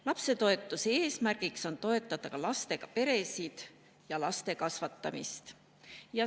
Lapsetoetuse eesmärk on toetada lastega peresid ja laste kasvatamist.